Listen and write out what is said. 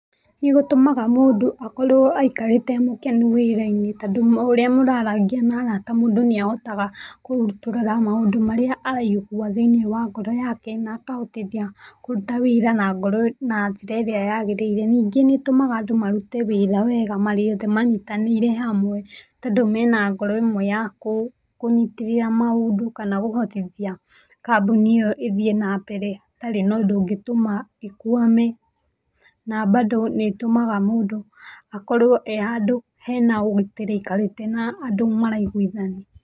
Nĩgũtũmaga mũndũ akorwo aikarĩte e mũkenu wĩra-inĩ tondũ o ũrĩa ũrarangia na arata mũndũ nĩahotaga kũrutũrũra maũndũ marĩa araigua thĩiniĩ wa ngoro yake na akahotithia kũruta wĩira na ngoro na njĩra ĩrĩa yagĩrĩire. Ningĩ nĩĩtũmaga andũ marute wĩra wega marĩ othe manyitanĩire hamwe tondũ me na ngoro ĩmwe ya kũnyitithia maũndũ kana kũhotithia kambuni ĩyo ĩthiĩ na mbere hatarĩ na ũndũ ũngĩtuma ĩkwame. Na bado nĩĩtũmaga mũndũ akorwo e handũ he na ũgitĩri aikarĩte na andũ maraiguithania.